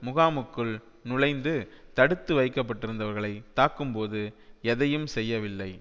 முகாமுக்குள் நுழைந்து தடுத்து வைக்கப்பட்டிருந்தவர்களை தாக்கும்போது எதையும் செய்யவில்லை